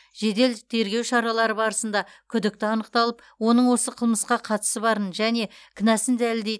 жедел тергеу шаралары барысында күдікті анықталып оның осы қылмысқа қатысы барын және кінәсін дәлелдейтін